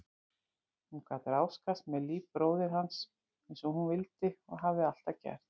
Hún gat ráðskast með líf bróður hans einsog hún vildi og hafði alltaf gert.